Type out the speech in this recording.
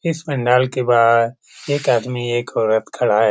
इस पंडाल के बाहर एक आदमी और एक औरत खड़ा है ।